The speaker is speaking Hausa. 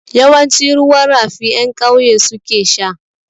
Yawanci ruwan rafi ƴan ƙauye su ke sha.